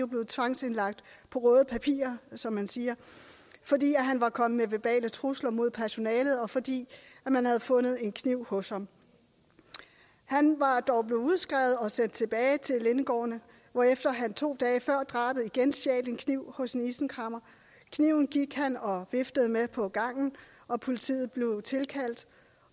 blevet tvangsindlagt på røde papirer som man siger fordi han var kommet med verbale trusler mod personalet og fordi man havde fundet en kniv hos ham han var dog blevet udskrevet og sendt tilbage til lindegården hvorefter han to dage før drabet igen stjal en kniv hos en isenkræmmer kniven gik han og viftede med på gangen politiet blev tilkaldt